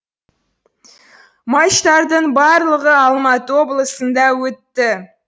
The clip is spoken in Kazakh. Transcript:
матчтардың барлығы алматы облысында өтті